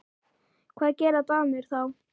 Hvað gera Danir þá?